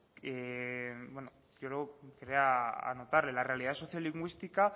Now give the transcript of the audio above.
bueno yo quería anotarle la realidad socio lingüística